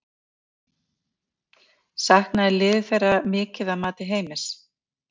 Saknaði liðið þeirra mikið að mati Heimis?